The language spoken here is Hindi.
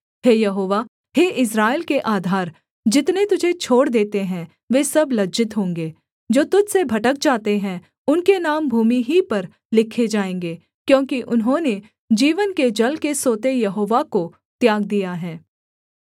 हे यहोवा हे इस्राएल के आधार जितने तुझे छोड़ देते हैं वे सब लज्जित होंगे जो तुझ से भटक जाते हैं उनके नाम भूमि ही पर लिखे जाएँगे क्योंकि उन्होंने जीवन के जल के सोते यहोवा को त्याग दिया है